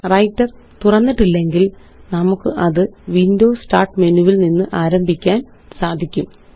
writer തുറന്നിട്ടില്ലെങ്കില് നമുക്കത് Windows start menu വില് നിന്ന് ആരംഭിക്കാന് സാധിക്കും